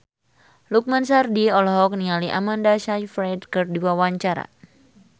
Lukman Sardi olohok ningali Amanda Sayfried keur diwawancara